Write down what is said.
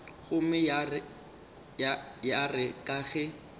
gomme ya re ka ge